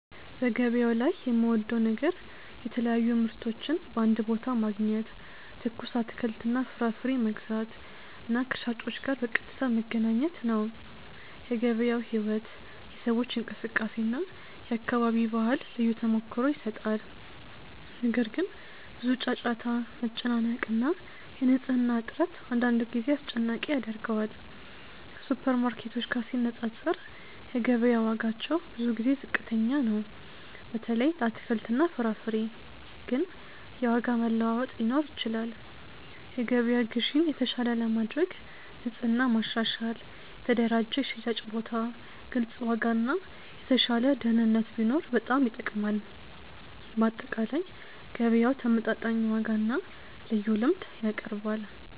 በገበያው ላይ የምወደው ነገር የተለያዩ ምርቶችን በአንድ ቦታ ማግኘት፣ ትኩስ አትክልትና ፍራፍሬ መግዛት እና ከሻጮች ጋር በቀጥታ መገናኘት ነው። የገበያው ሕይወት፣ የሰዎች እንቅስቃሴ እና የአካባቢ ባህል ልዩ ተሞክሮ ይሰጣል። ነገር ግን፣ ብዙ ጫጫታ፣ መጨናነቅ እና የንጽህና እጥረት አንዳንድ ጊዜ አስጨናቂ ያደርገዋል። ከሱፐርማርኬቶች ጋር ሲነፃፀር፣ የገበያ ዋጋዎች ብዙ ጊዜ ዝቅተኛ ናቸው፣ በተለይ ለአትክልትና ፍራፍሬ። ግን የዋጋ መለዋወጥ ሊኖር ይችላል። የገበያ ግዢን የተሻለ ለማድረግ ንጽህና ማሻሻል፣ የተደራጀ የሽያጭ ቦታ፣ ግልጽ ዋጋ እና የተሻለ ደህንነት ቢኖር በጣም ይጠቅማል። በአጠቃላይ፣ ገበያው ተመጣጣኝ ዋጋና ልዩ ልምድ ያቀርባል።